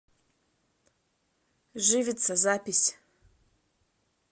живица запись